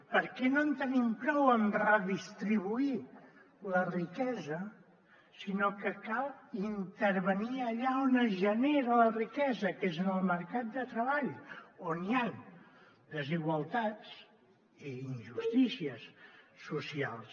perquè no en tenim prou amb redistribuir la riquesa sinó que cal intervenir allà on es genera la riquesa que és en el mercat de treball on hi han desigualtats i injustícies socials